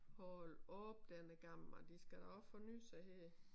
Hold op den er gammel mand de skal da også forny sig her